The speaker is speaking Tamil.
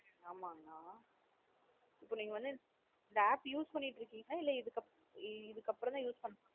ஆமாங்க்ன இப்ப நீங்க வந்து இந்த app use பண்ணிட்டு இருக்கீங்களா? இதுக்கு இதுக்கு அப்பறம் தான் use பண்ணா போறீங்களா?